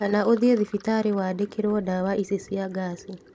Kana ũthiĩ thibitarĩ wandikĩrwo ndawa ici cia ngaci